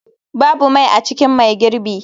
Babu mai a cikin mai girbi.